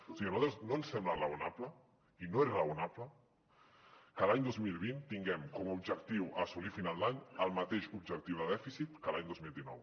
o sigui a nosaltres no ens sembla raonable i no és raonable que l’any dos mil vint tinguem com a objectiu a assolir a final d’any el mateix objectiu de dèficit que l’any dos mil dinou